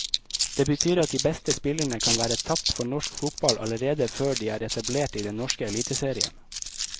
Det betyr at de beste spillerne kan være tapt for norsk fotball allerede før de er etablert i den norske eliteserien.